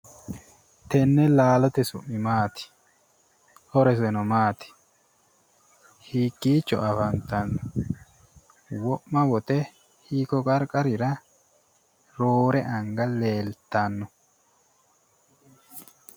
Tenne laalote su'mi maati horoseno maati hiikkicho afantanno wo'ma wote hiikko qarqarira roore anga leeltanno